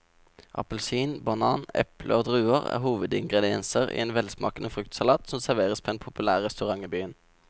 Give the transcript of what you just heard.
Appelsin, banan, eple og druer er hovedingredienser i en velsmakende fruktsalat som serveres på en populær restaurant i byen.